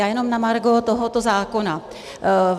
Já jenom na margo tohoto zákona.